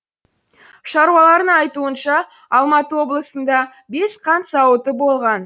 шаруалардың айтуынша алматы облысында бес қант зауыты болған